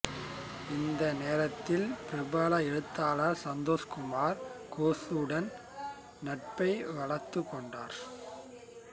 இந்த நேரத்தில் பிரபல எழுத்தாளர் சந்தோஷ்குமார் கோசுடன் நட்பை வளர்த்துக் கொண்டார்